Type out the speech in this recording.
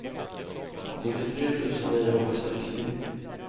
nittiotre tusen niohundrasextio